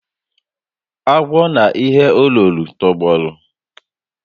Agwọ na ihe o loro tọgbọrọ